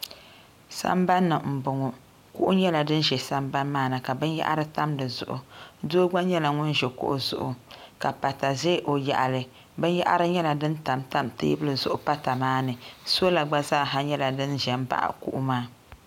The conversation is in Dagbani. sambani m-bɔŋɔ kuɣu nyɛla din ʒe sambani maa ni ka binyɛhiri tam di zuɣu doo gba nyɛla ŋun ʒi kuɣu zuɣu ka pata ʒe o yaɣili binyɛhiri nyɛla din tam tam teebuli zuɣu pata maa ni sɔla gba zaa ha nyɛla din ʒe m-baɣi kuɣu maa.